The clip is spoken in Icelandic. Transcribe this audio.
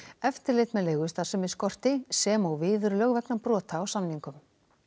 eftirlit með leigustarfsemi skorti sem og viðurlög vegna brota á samningum